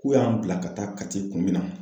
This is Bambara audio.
K'u y'an bila ka taa Kati kun min na